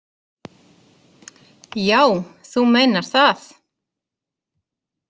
Já, þú meinar það.